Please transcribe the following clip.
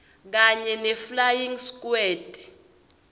kanye neflying squad